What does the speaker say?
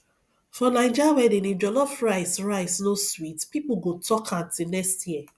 for naija wedding if jollof rice rice no sweet people go talk am till next year